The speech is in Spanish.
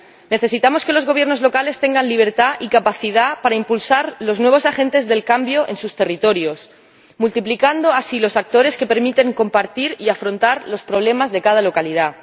necesitamos que los gobiernos locales tengan libertad y capacidad para impulsar los nuevos agentes del cambio en sus territorios, multiplicando así los actores que permiten compartir y afrontar los problemas de cada localidad.